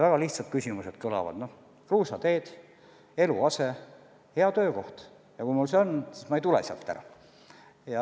Väga lihtsad soovid kõlavad: kas või kruusateed, eluase, hea töökoht – kui mul see kõik on, siis ma ei tule sealt ära.